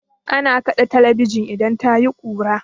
Ana kaɗe talabijin idan tayi kura.